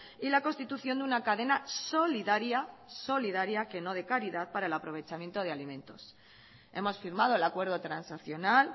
y la constitución de una cadena solidaria solidaria que no de caridad para el aprovechamiento de alimentos hemos firmado el acuerdo transaccional